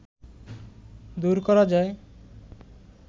দূর করা যায়